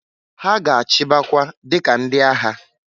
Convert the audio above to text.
Ha ga-achịbakwa dika ndị agha.